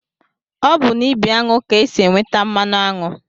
Ọ bụ n'ibi aṅụ ka e si enweta mmanụ aṅụ